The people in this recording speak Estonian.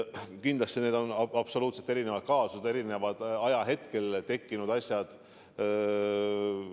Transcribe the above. Kindlasti on need absoluutselt erinevad kaasused, need on ka eri ajahetkel tekkinud asjad.